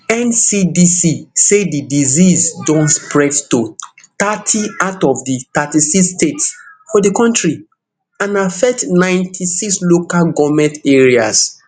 ncdc say di disease don spread to thirty out of di thirty-six states for di kontri and affect ninety-six local goment areas